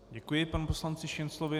Děkuji panu poslanci Šinclovi.